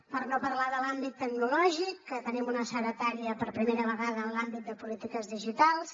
per no parlar de l’àmbit tecnològic que tenim una secretària per primera vegada en l’àmbit de polítiques digitals